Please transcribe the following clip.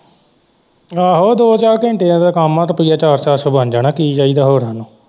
ਆਹੋ ਦੋ ਚਾਰ ਘੰਟਿਆਂ ਦਾ ਕੰਮ ਹੈ ਰੁਪਇਆ ਚਾਰ ਚਾਰ ਸੋ ਬਣ ਜਾਣਾ ਕੀ ਚਾਹੀਦਾ ਹੋਰ ਇਹਨੂੰ।